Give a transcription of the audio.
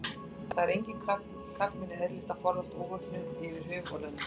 Það er engum karlmanni eðlilegt að ferðast óvopnaður yfir höf og lönd.